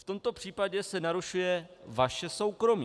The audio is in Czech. V tomto případě se narušuje vaše soukromí.